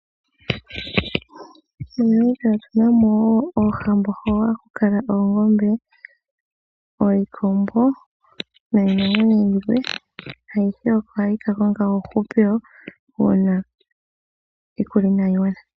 MoNamibia otuna mo oohambo hoka haku kala oongombe, iikombo niinamwenyo yilwe. Ayihe oko hayi kakonga uuhupilo ngele iikulya inaayi gwana.